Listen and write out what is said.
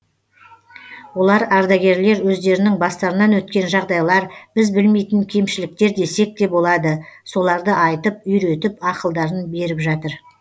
олар ардагерлер өздерінің бастарынан өткен жағдайлар біз білмейтін кемшіліктер десекте болады соларды айтып үйретіп ақылдарын беріп жатыр